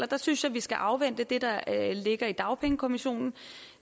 der synes jeg vi skal afvente det der ligger i dagpengekommissionen